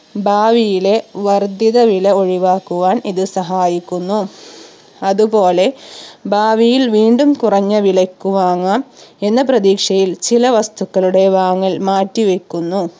ഭാവിയിലെ വർധിത വില ഒഴിവാക്കുവാൻ ഇത് സഹായിക്കുന്നു അതുപോലെ ഭാവിയിൽ വീണ്ടും കുറഞ്ഞ വിലയ്ക്ക് വാങ്ങാം എന്ന പ്രതീക്ഷയിൽ ചില വസ്തുക്കളുടെ വാങ്ങൽ മാറ്റിവെക്കുന്നു